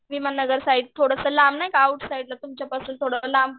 विमाननगर नाही का थोडं आउट साईड तुमच्या पासून थोडं लांब.